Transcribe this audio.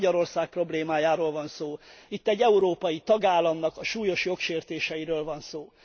Itt nem Magyarország problémájáról van szó, itt egy európai tagállam súlyos jogsértéseiről van szó.